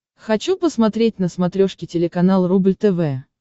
хочу посмотреть на смотрешке телеканал рубль тв